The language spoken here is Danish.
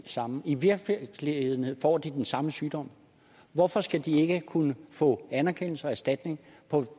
samme og i virkeligheden får de den samme sygdom hvorfor skal de ikke kunne få anerkendelse og erstatning på